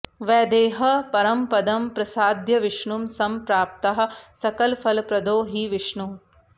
वैदेहः परमपदं प्रसाद्य विष्णुं संप्राप्ताः सकलफलप्रदो हि विष्णुः